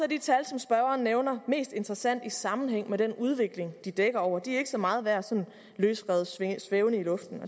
de tal som spørgeren nævner mest interessante i sammenhæng med den udvikling de dækker over de er ikke så meget værd sådan løsrevet svævende i luften